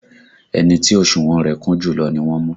Ẹni tí òsùnwọ̀n rẹ̀ kún jùlọ ni wọ́n mú